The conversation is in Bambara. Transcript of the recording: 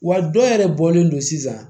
Wa dɔ yɛrɛ bɔlen don sisan